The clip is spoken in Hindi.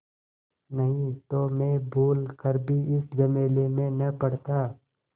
नहीं तो मैं भूल कर भी इस झमेले में न पड़ता